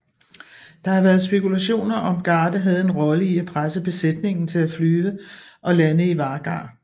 Der har været spekulationer om Garde havde en rolle i at presse besætningen til at flyve og lande i Vagar